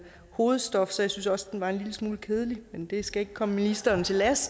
hovedstof så jeg synes også den var en lille smule kedelig men det skal ikke komme ministeren til last